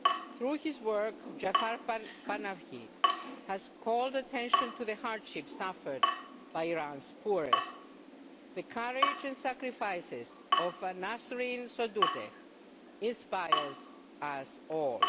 Through his work, Jafar Panahi has called attention to the hardship suffered by Iran's poorest. The courage and sacrifices of Nasrin Sotoudeh inspire us all.